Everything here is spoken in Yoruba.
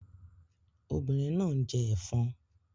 Obìnrin náà ń jẹ ẹ̀fọn